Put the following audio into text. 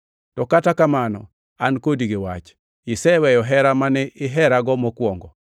To kata kamano an kodi gi wach; iseweyo hera mane iherago mokwongo.